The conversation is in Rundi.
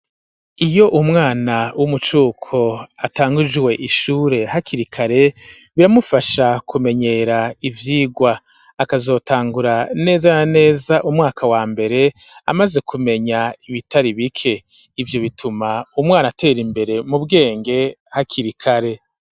Iyo umwana w'umucuko atangujwe ishure hakirikare biramufasha kumenyera ivyigwa, akazotangura neza na neza umwaka wa mbere amaze kumenya ibitari bike ,ivyo bituma umwana atera imbere mu bwenge hakirikare.